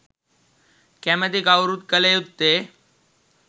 කැමැති කවුරුත් කළ යුත්තේ